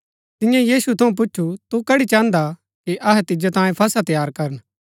तियें यीशु थऊँ पुछु तू कड़ी चाहन्दा कि अहै तिजो तांयें फसह तैयार करन